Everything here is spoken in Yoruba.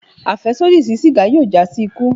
Afẹsodi si sígá yóò já si ikú